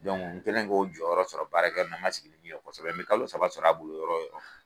Dɔnku n kɛlen k'o jɔyɔrɔ sɔrɔ baarakɛ n na n ma sigi ni min ye kosɛbɛ n be kalo saba sɔrɔ a bolo yɔrɔ o yɔrɔ